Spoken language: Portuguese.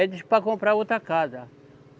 Ele disse para comprar outra casa.